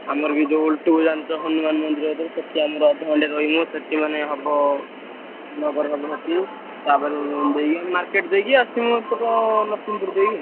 ଆମର ବି ଯଉଭଳି ଜାଣିଚ ହନୁମାନ ମନ୍ଦିର ଅଧେ ଘଣ୍ଟେ ରହିମୁ ସେଠି ମାନେ ହବ। ନଗର ହବ ହେଟି ତାପରେ market ଦେଇକି ଆସିମୁ ଏପଟେ ନରସିଂହ ପୁର ଦେଇକି।